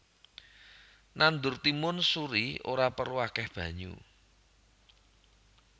Nandur timun suri ora perlu akèh banyu